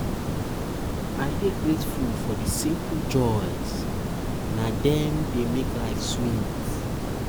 i dey um grateful for the simple joys; na dem um dey make life sweet.